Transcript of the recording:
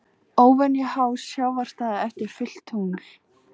Óvenju há sjávarstaða eftir fullt tungl